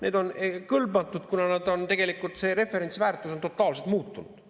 Need on kõlbmatud, kuna tegelikult see referentsväärtus on totaalselt muutunud.